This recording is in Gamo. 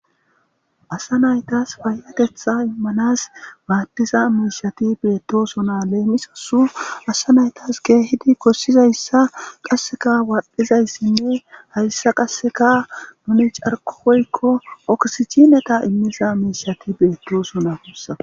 asa naytas fayatetha immanas maattiza miishati beettosona leemisasu asa naytas geehidi kossizayssa qasseka waadhdhizayssinne hayssa qasseka nuni carqoykko oksicineta immiza miishati beettosona kussa